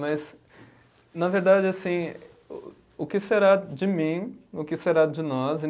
Mas, na verdade, assim, o o que será de mim, o que será de nós em